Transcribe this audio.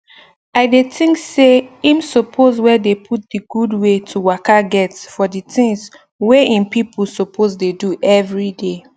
i dey think say im suppose wey dey put d gud wey to waka get for the tins wey erm pipo suppose dey do everyday